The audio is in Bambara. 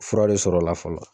Fura le sɔrɔ la fɔlɔ.